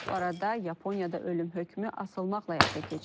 Bu arada Yaponiyada ölüm hökmü asılmaqla həyata keçirilir.